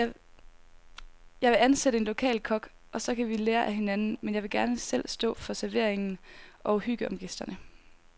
Jeg vil ansætte en lokal kok, og så kan vi lære af hinanden, men jeg vil gerne selv stå for servering og hygge om gæsterne.